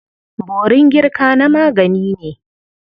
Borin girka na magani ne.